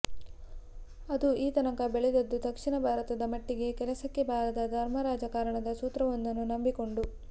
ಅದು ಈ ತನಕ ಬೆಳೆದದ್ದು ದಕ್ಷಿಣ ಭಾರತದ ಮಟ್ಟಿಗೆ ಕೆಲಸಕ್ಕೆ ಬಾರದ ಧರ್ಮರಾಜಕಾರಣದ ಸೂತ್ರವೊಂದನ್ನು ನಂಬಿಕೊಂಡು